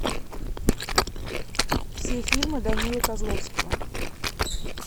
все фильмы данилы козловского